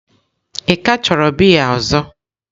Ị ka chọrọ biya ọzọ?